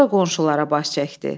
Sonra qonşulara baş çəkdi.